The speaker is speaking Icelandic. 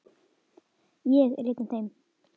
Ég er einn af þeim.